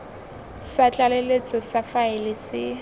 sa tlaleletso sa faele se